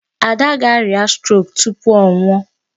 Ada ga-arịa 'stroke' tupu ọ nwụọ.